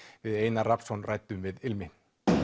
við Einar Rafnsson ræddum við ilmi